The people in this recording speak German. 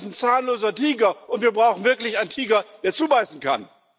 Das ist ein zahnloser Tiger, und wir brauchen wirklich einen Tiger, der zubeißen kann.